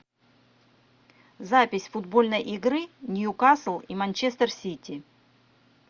запись футбольной игры ньюкасл и манчестер сити